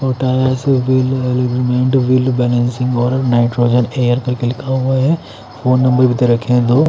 potash bill agreement bill balancing wall nitrogen air करके लिखा हुआ हैं फ़ोन नंबर भी दे रखे हैं दो --